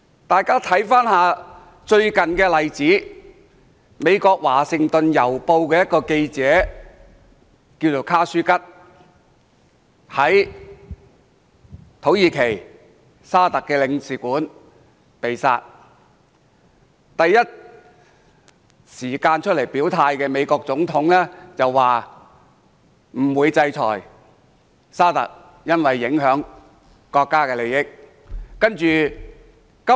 大家看看最近一個例子，美國《華盛頓郵報》一名記者，名叫卡舒吉，他在駐土耳其的沙特阿拉伯領事館內被殺，第一時間出來表態的美國總統，但他說不會制裁沙特阿拉伯，因為會影響國家利益。